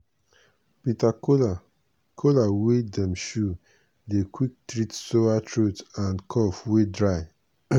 bitter kola kola wey dem chew dey quick treat sore throat and cough wey dry.